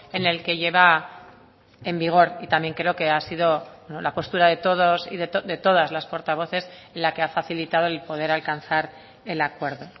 en el que lleva en vigor y también creo que ha sido la postura de todos y de todas las portavoces la que ha facilitado el poder alcanzar el acuerdo